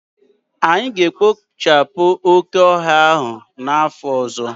Anyị ga-ekpochapụ oke ọhịa ahụ n'afọ ọzọ